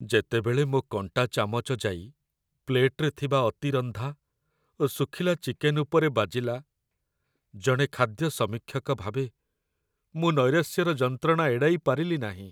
ଯେତେବେଳେ ମୋ' କଣ୍ଟା ଚାମଚ ଯାଇ ପ୍ଲେଟରେ ଥିବା ଅତିରନ୍ଧା ଓ ଶୁଖିଲା ଚିକେନ୍ ଉପରେ ବାଜିଲା, ଜଣେ ଖାଦ୍ୟ ସମୀକ୍ଷକ ଭାବେ, ମୁଁ ନୈରାଶ୍ୟର ଯନ୍ତ୍ରଣା ଏଡ଼ାଇପାରିଲି ନାହିଁ।